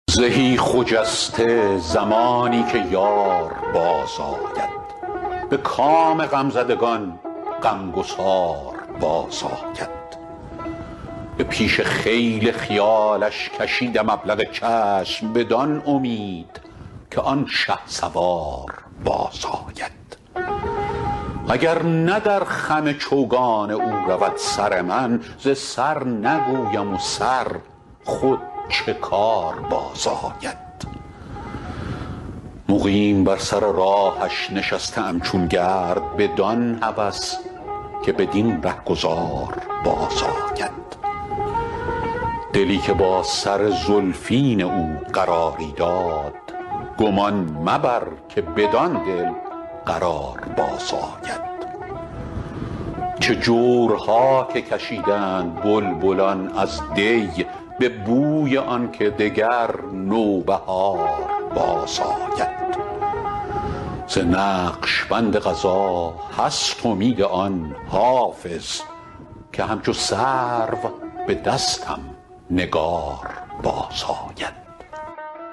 زهی خجسته زمانی که یار بازآید به کام غمزدگان غمگسار بازآید به پیش خیل خیالش کشیدم ابلق چشم بدان امید که آن شهسوار بازآید اگر نه در خم چوگان او رود سر من ز سر نگویم و سر خود چه کار بازآید مقیم بر سر راهش نشسته ام چون گرد بدان هوس که بدین رهگذار بازآید دلی که با سر زلفین او قراری داد گمان مبر که بدان دل قرار بازآید چه جورها که کشیدند بلبلان از دی به بوی آن که دگر نوبهار بازآید ز نقش بند قضا هست امید آن حافظ که همچو سرو به دستم نگار بازآید